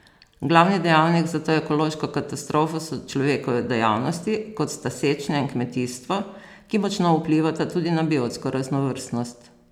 Glavni dejavnik za to ekološko katastrofo so človekove dejavnosti, kot sta sečnja in kmetijstvo, ki močno vplivata tudi na biotsko raznovrstnost.